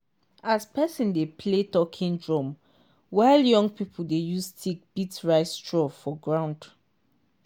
as person dey play talking drum while young people dey use stick beat rice straw for ground